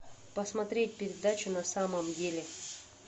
посмотреть передачу на самом деле